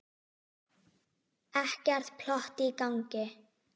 Ekkert plott í gangi.